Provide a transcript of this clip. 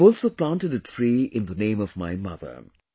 I have also planted a tree in the name of my mother